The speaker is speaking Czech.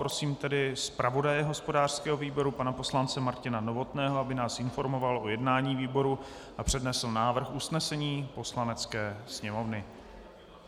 Prosím tedy zpravodaje hospodářského výboru pana poslance Martina Novotného, aby nás informoval o jednání výboru a přednesl návrh usnesení Poslanecké sněmovny.